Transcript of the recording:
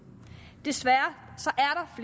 desværre